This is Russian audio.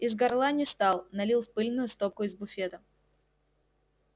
из горла не стал налил в пыльную стопку из буфета